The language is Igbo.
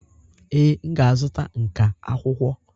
Ee, m ga-azụta nka akwụkwọ.